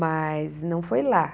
Mas não foi lá.